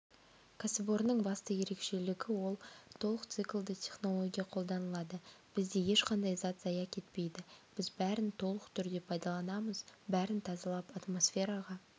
кәсіпорынның басты ерекшелігі ол толық циклды технология қолданылады бізде ешқандай зат зая кетпейді біз бәрін толық түрде пайдаланамыз бәрін тазалап атмосфераға